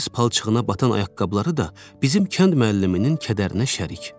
Payız palçığına batan ayaqqabıları da bizim kənd müəlliminin kədərinə şərik.